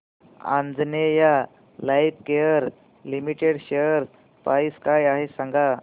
Anjaneya Lifecare limited share price काय आहे सांगा